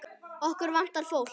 Okkur vantar fólk.